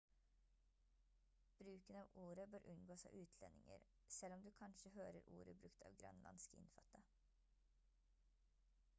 bruken av ordet bør unngås av utlendinger selv om du kanskje hører ordet brukt av grønlandske innfødte